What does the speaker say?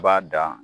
B'a dan